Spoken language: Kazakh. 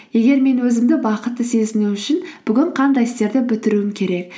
егер мен өзімді бақытты сезіну үшін бүгін қандай істерді бітіруім керек